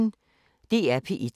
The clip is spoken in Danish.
DR P1